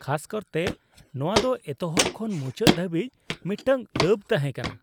ᱠᱷᱟᱥ ᱠᱟᱨᱛᱮ ᱱᱚᱶᱟ ᱫᱚ ᱮᱛᱚᱦᱚᱵ ᱠᱷᱚᱱ ᱢᱩᱪᱟᱹᱫ ᱫᱷᱟᱹᱵᱤᱡ ᱢᱤᱫᱴᱟᱝ ᱫᱟᱹᱵ ᱛᱟᱦᱮᱸ ᱠᱟᱱᱟ ᱾